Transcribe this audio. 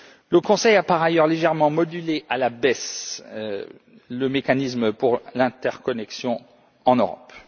Le Conseil a par ailleurs légèrement modulé à la baisse le mécanisme pour l'interconnexion en Europe.